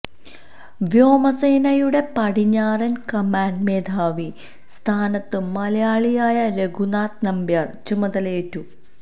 വ്യോമസേനയുടെ പടിഞ്ഞാറൻ കമാൻഡ് മേധാവി സ്ഥാനത്ത് മലയാളിയായ രഘുനാഥ് നമ്പ്യാർ ചുമതലയേറ്റു